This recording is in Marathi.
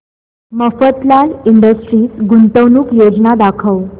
मफतलाल इंडस्ट्रीज गुंतवणूक योजना दाखव